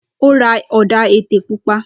Ó ra ọ̀dà-ètè pupa.